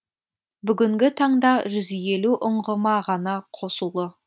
бүгінгі таңда жүз елу ұңғыма ғана қосулы